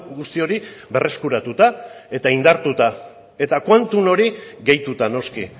guzti hori berreskuratuta eta indartuta eta quantum hori gehituta noski